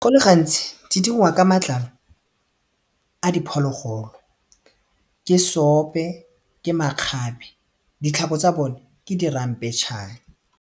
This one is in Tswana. Go le gantsi di diriwa ka matlalo a diphologolo ke seope, ke makgabe ditlhako tsa bone ke di ramphetšhane.